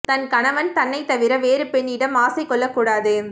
தன் கணவன் தன்னைத் தவிர வேறு பெண்ணிடம் ஆசை கொள்ளக் கூடாது